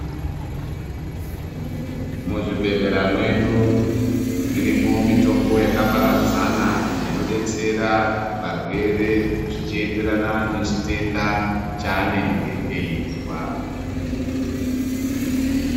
Muzvibhedhlera mwedu, irimwo mitombo yakaparadzana inodetsera varwere zvichienderana nechitenda chaanenge eizwa.